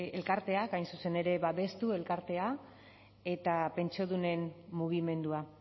elkarteak hain zuzen ere babestu elkartea eta pentsiodunen mugimendua